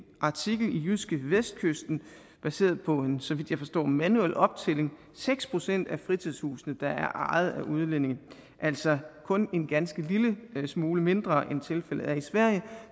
artikel i jydskevestkysten baseret på en så vidt jeg forstår manuel optælling seks procent af fritidshusene der er ejet af udlændinge altså kun en ganske lille smule mindre end tilfældet er i sverige